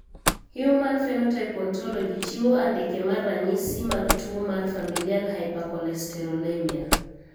Human Phenotype Ontology chiwo andike mar ranyisi mag tuo mar Familial hypercholesterolemia.